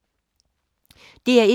DR1